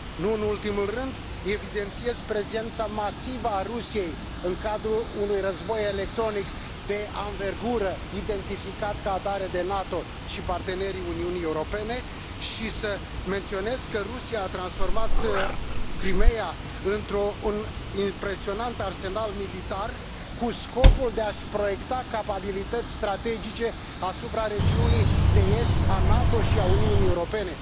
Nu în ultimul rând, evidențiez prezența masivă a Rusiei în cadrul unui război electronic de anvergură identificat ca atare de NATO și partenerii Uniunii Europene și menționez că Rusia a transformat Crimeea într un impresionant arsenal militar cu scopul de a și proiecta capabilități strategice asupra regiunii de est a NATO și a Uniunii Europene.